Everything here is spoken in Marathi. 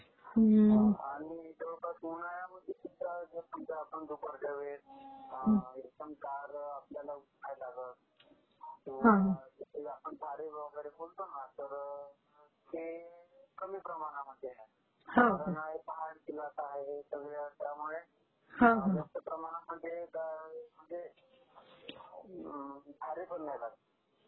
आणि जवळपास उन्हाळ्यामध्ये खूप त्रास नसतो दुपारच्या वेळेस, फार उन्ह नाही लागत..... तर ते कमी प्रमाणामध्ये आहे.......